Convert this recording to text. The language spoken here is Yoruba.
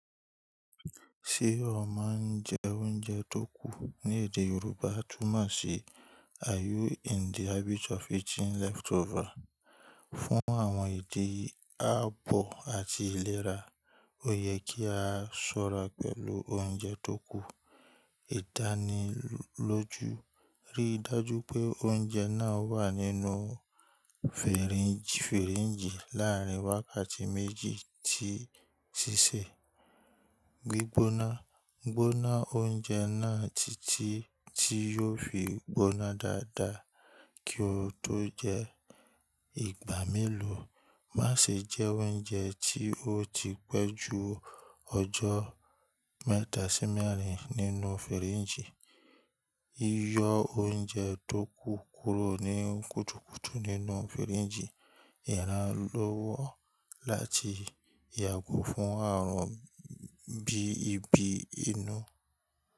Ṣé o máa ń jẹ oúnjẹ tó kù ní èdè Yorùbá tún mọ̀ sí "Are you in the habit of eating leftover?" Fún àwọn ìdí ààbọ̀ àti ìlera, ó yẹ kí a ṣọ́ra pẹ̀lú oúnjẹ tó kù. Ìdánilójú. Rí i dájú pé oúnjẹ náà wà nínú fìríńgì láàrín wákàtí méjì tí í ṣíṣe. Gbígbóná. Gbóná oúnjẹ náà títí tí yóò fi gbóná dáadáa kí ó tó jẹ ìgbà mélòó. Má ṣe jẹ oúnjẹ tí ó ti pẹ́ ju ọjọ́ mẹ́ta sí mẹ́rin nínú fìríńgì. Yíyọ oúnjẹ tó kù kúrò ní kùtùkùtù nínú fìríńgì yàrá lọ́wọ́ láti yàgò fún ààrùn bí ibi inú.